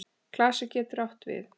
Klasi getur átt við